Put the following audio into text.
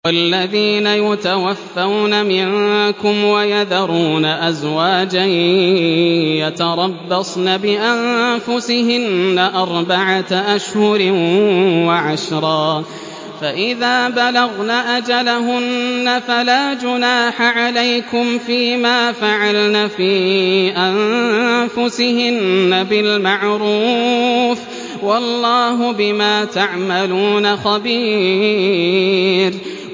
وَالَّذِينَ يُتَوَفَّوْنَ مِنكُمْ وَيَذَرُونَ أَزْوَاجًا يَتَرَبَّصْنَ بِأَنفُسِهِنَّ أَرْبَعَةَ أَشْهُرٍ وَعَشْرًا ۖ فَإِذَا بَلَغْنَ أَجَلَهُنَّ فَلَا جُنَاحَ عَلَيْكُمْ فِيمَا فَعَلْنَ فِي أَنفُسِهِنَّ بِالْمَعْرُوفِ ۗ وَاللَّهُ بِمَا تَعْمَلُونَ خَبِيرٌ